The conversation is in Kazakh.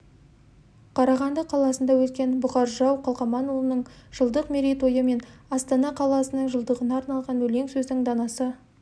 қарағанды қаласында өткен бұқар жырау қалқаманұлының жылдық мерейтойы мен астана қаласының жылдығына арналған өлең сөздің данасы